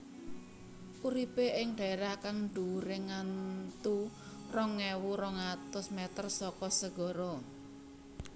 Uripe ing dhaerah kang dhuwure ngantu rong ewu rong atus meter saka segara